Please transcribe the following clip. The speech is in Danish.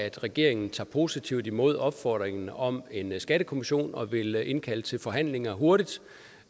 at regeringen tager positivt imod opfordringen om en skattekommission og vil indkalde til forhandlinger hurtigt